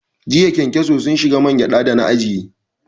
Jiya ƙenkeso sun shige man gyada da na ajiye